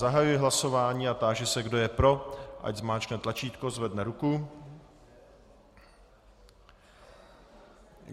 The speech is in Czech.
Zahajuji hlasování a táži se, kdo je pro, ať stiskne tlačítko, zvedne ruku.